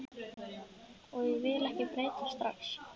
Og ég vil ekki breytast strax.